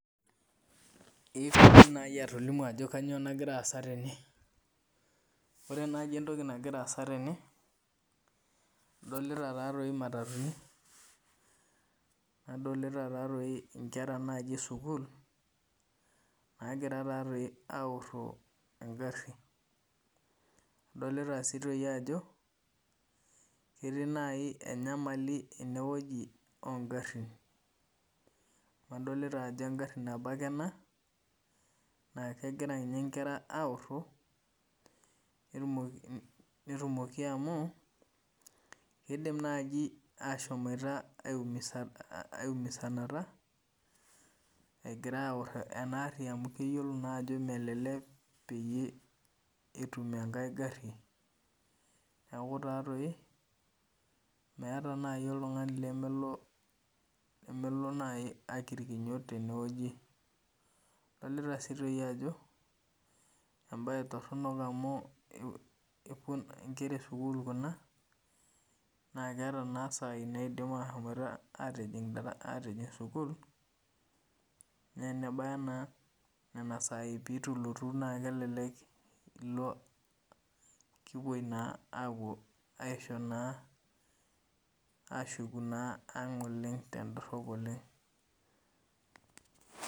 Indim nai atolimu ano kanyio nagira aasa tene ore mai entoki nagira aasa tene adolita imatatuni nadolta nkwra esukul nagira aoro ngarin adolta ajo etii nai enyamali ongarin amu engaru nabo ake ena nakegira nkera aoro nidimaki amu kidim nai ashomo aimusanata egira aoro enaari amu keyiolo ajo melelek etum enkae gari neaku meetae nai oltungani lemelo akigirno tenewueji adolta si ajo embae toronok amu nkera esukul kuna na keeta na sai napuo ajing sukul na enebaya na nona sai pitulotu na kelelek kipuoi ashuku aang tendorop oleng.